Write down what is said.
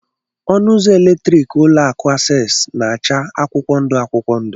Ọnụ ụzọ eletriki ụlọ akụ Access na acha akwụkwọ ndụ akwụkwọ ndụ.